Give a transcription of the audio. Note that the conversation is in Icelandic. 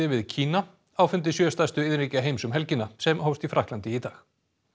við Kína á fundi sjö stærstu iðnríkja heims um helgina sem hófst í Frakklandi í dag